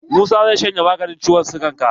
Musa zai shanye maganin ciwon sigan ka.